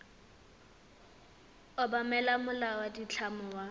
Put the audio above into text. obamela molao wa ditlamo wa